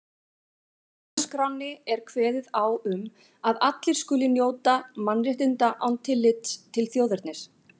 Í stjórnarskránni er kveðið á um að allir skuli njóta mannréttinda án tillits til þjóðernis.